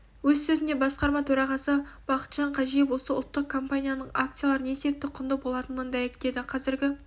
өз сөзінде басқарма төрағасы бақытжан қажиев осы ұлттық компанияның акциялары не себепті құнды болатындығын дәйектеді қазіргі